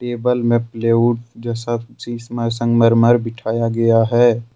Table में plywood जैसा चीज संगमरमर बिठाया गया है।